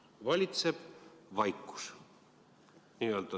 Valitseb vaikus.